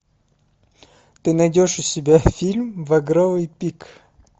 ты найдешь у себя фильм багровый пик